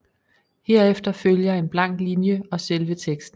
Herefter følger en blank linje og selve teksten